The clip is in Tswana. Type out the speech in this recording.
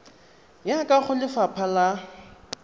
ya kwa go lefapha la